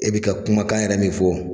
E bɛ ka kumakan yɛrɛ min fɔ